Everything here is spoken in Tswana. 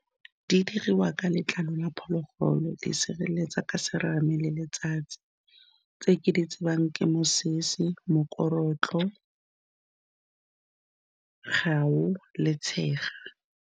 Di dirwa ka letlalo la phologolo, di sireletsa ka serame le letsatsi, tse ke di tsebang ke mosese, mokorotlo, le tshega.